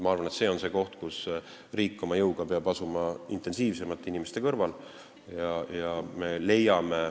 Ma arvan, et see on see koht, kus riik oma jõuga peab asuma intensiivsemalt inimeste kõrvale.